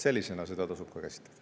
Sellisena seda tasub ka käsitleda.